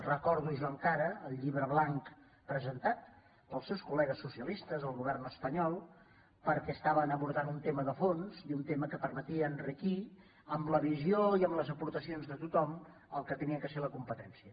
recordo jo encara el llibre blanc presentat pels seus col·legues socialistes al govern espanyol perquè abordaven un tema de fons i un tema que permetia enriquir amb la visió i amb les aportacions de tothom el que havia de ser la compe·tència